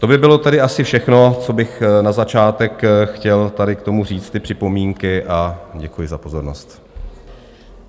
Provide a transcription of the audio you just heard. To by bylo tedy asi všechno, co bych na začátek chtěl tady k tomu říct, ty připomínky, a děkuji za pozornost.